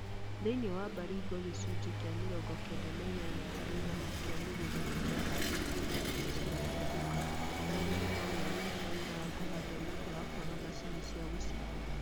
Thĩiniĩ wa Baringo gĩcunjĩ kĩa mirongo kenda na inyanya harĩ igana kĩa mĩgũnda nĩkĩahandĩtwo na irio cĩgathundũka na arĩmi no maarutaga wĩra wa kũhanda nĩ ũndũ wa kwaga macini cia g ũcimba